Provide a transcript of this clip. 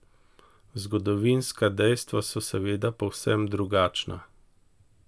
Zgodovinska dejstva so seveda povsem drugačna!